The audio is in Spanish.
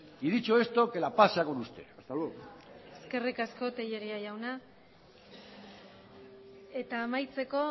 y dicho esto que la paz sea con usted hasta luego eskerrik asko telleria jauna eta amaitzeko